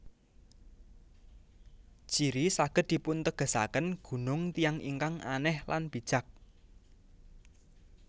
Jiri saged dipuntegesaken Gunung Tiyang ingkang Anèh lan Bijak